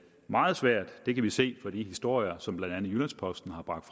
meget svært det kan vi se i de historier som blandt andet jyllands posten har bragt